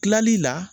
Kilali la